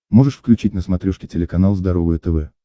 можешь включить на смотрешке телеканал здоровое тв